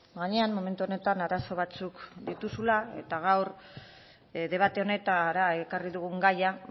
gainean momentu honetan arazo batzuk dituzula eta gaur debate honetara ekarri dugun gaia